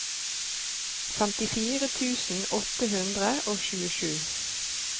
femtifire tusen åtte hundre og tjuesju